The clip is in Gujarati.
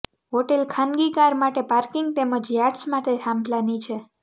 હોટેલ ખાનગી કાર માટે પાર્કિંગ તેમજ યાટ્સ માટે થાંભલાની છે